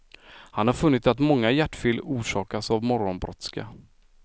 Han har funnit att många hjärtfel orsakas av morgonbrådska.